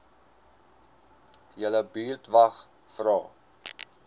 julle buurtwag vra